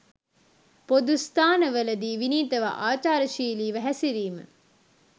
පොදු ස්ථානවල දී විනීතව ආචාරශීලීව හැසිරීම